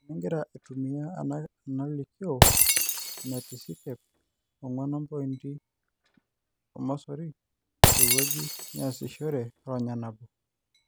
Eningira aitumia enalikioo enetisikep 4.0: tewueji niasishore ronya nabo.